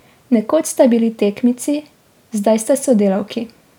Nekoč sta bili tekmici, zdaj sta sodelavki.